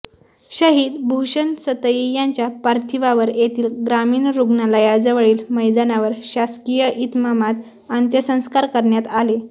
शहीद भूषण सतई यांच्या पार्थिवावर येथील ग्रामीण रुग्णालयाजवळील मैदानावर शासकिय इतमामात अंत्यसंस्कार करण्यात आले